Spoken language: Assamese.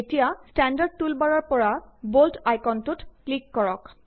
এতিয়া ষ্টেণ্ডাৰ্ড টুলবাৰৰ পৰা বল্ড আইকনটোত ক্লিক কৰক